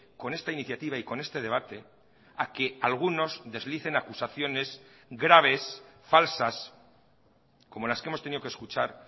con esta iniciativa y con este debate a que algunos deslicen acusaciones graves falsas como las que hemos tenido que escuchar